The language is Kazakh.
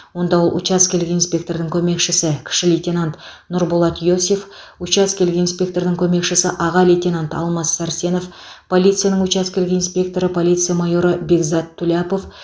онда ол учаскелік инспектордың көмекшісі кіші лейтенант нұрболат иосиф учаскелік инспектордың көмекшісі аға лейтенант алмас сәрсенов полицияның учаскелік инспекторы полиция майоры бекзат туляпов